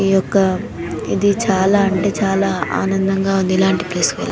ఈ యొక్క ఇది చాలా అంటే చాలా ఆనందంగా ఉంది. ఇలాంటి ప్లేస్ ల --